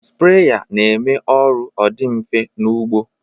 Spreya na-eme ọrụ ọ dị mfe n'ụgbọ